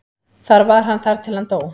Þar var hann þar til hann dó.